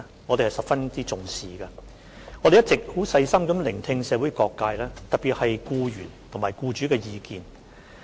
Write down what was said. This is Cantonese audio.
我們一直細心聆聽社會各界的意見，特別是僱員及僱主的意見。